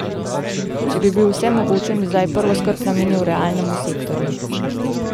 Če bi bil vsemogočen, bi zdaj prvo skrb namenil realnemu sektorju.